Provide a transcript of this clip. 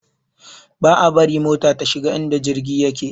Ba a bari mota ta shiga inda jirgi yake